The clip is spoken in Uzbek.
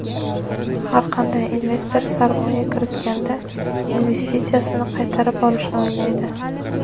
har qanday investor sarmoya kiritganda investitsiyasini qaytarib olishni o‘ylaydi.